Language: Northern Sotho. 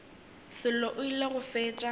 sello o ile go fetša